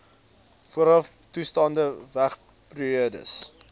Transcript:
voorafbestaande toestande wagperiodes